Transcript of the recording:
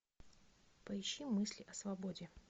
поищи мысли о свободе